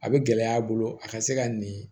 A bɛ gɛlɛya a bolo a ka se ka nin